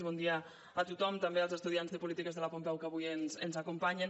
bon dia a tothom també als estudiants de polítiques de la pompeu que avui ens acompanyen